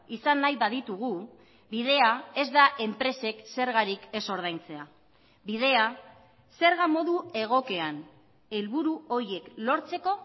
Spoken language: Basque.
izan nahi baditugu bidea ez da enpresek zergarik ez ordaintzea bidea zerga modu egokian helburu horiek lortzeko